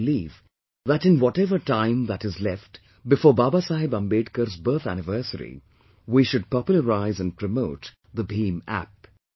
I believe that in whatever time that is left before Baba Saheb Ambedkar's birth anniversary, we should popularise and promote the BHIMApp